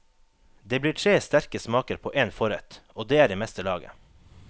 Det blir tre sterke smaker på én forrett, og det er i meste laget.